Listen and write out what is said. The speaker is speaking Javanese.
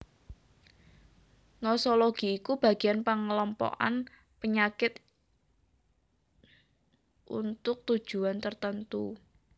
Nosologi iku bagian pengelompokan panyakit untuk tujuan tertentu